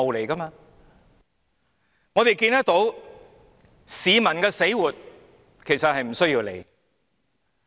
我們可以看到，市民的死活其實是不用理會的。